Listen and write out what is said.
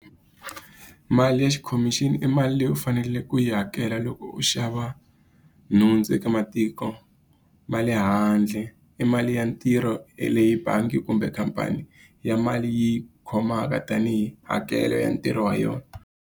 Mali ya khomixini i mali leyi u faneleke ku yi hakela loko u xava nhundzu eka matiko ma le handle. I mali ya ntirho ya leyi bangi kumbe khampani ya mali yi khomaka tanihi hakelo ya ntirho wa yona.